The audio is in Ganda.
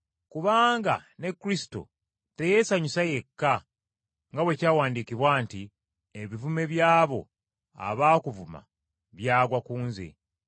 Kubanga ne Kristo teyeesanyusa yekka, nga bwe kyawandiikibwa nti, “Ebivume by’abo abaakuvuma byagwa ku nze.”